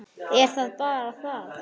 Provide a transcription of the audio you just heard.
Er það bara það?